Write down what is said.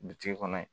Bitigi kɔnɔ